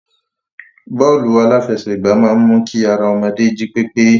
Bọ́ọ́lù aláfẹsẹ̀gbá máa ń mu kí ara ọmọdé jí pépé.